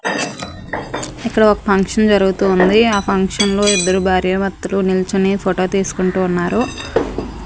ఇక్కడ ఒక ఫంక్షన్ జరుగుతూ ఉంది ఆ ఫంక్షన్ లో ఇద్దరు భార్యాభర్తలు నిల్చోని ఫోటో తీసుకుంటూ ఉన్నారు.